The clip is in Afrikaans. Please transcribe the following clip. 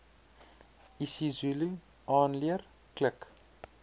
isizulu aanleer klik